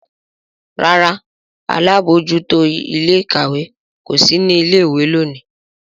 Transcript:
ràrá àlabòjuto Ilé-ìkàwé kò sí ní ilé ìwé lóni.